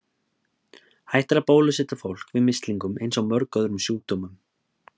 Hægt er að bólusetja fólk við mislingum eins og mörgum öðrum sjúkdómum.